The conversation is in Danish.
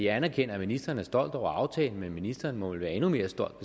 anerkender at ministeren er stolt over aftalen men ministeren må vel være endnu mere stolt